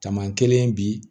Tama kelen bi